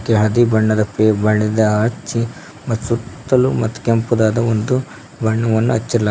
ಇಲ್ಲಿ ಹಳದಿ ಬಣ್ಣದ ಹಚ್ಚಿ ಮತ್ತು ಸುತ್ತಲು ಕೆಂಪುದಾದ ಒಂದು ಬಣ್ಣವನ್ನು ಅಚಲಾಗಿ--